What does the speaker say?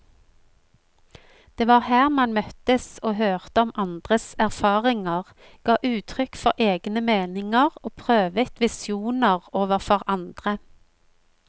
Det var her man møttes og hørte om andres erfaringer, ga uttrykk for egne meninger og prøvet visjoner overfor andre.